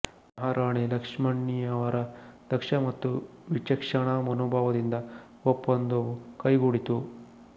ಮಹಾರಾಣಿ ಲಕ್ಷ್ಮಮ್ಮಣ್ಣಿಯವರ ದಕ್ಷ ಮತ್ತು ವಿಚಕ್ಷಣಾ ಮನೋಭಾವದಿಂದ ಒಪ್ಪಂದವು ಕೈಗೂಡಿತು